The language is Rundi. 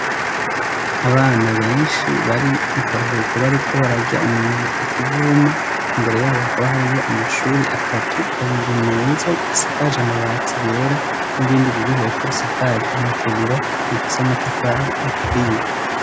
Abana benshi bari mu karuhuko, bariko bararya umunyenga ku kivuma. Imbere yabo hakaba hariyo amashuri atatu, abiri meza asakaje amabati yera n'irindi riri hepfo risakaje amategura rifise amatafari aturiye.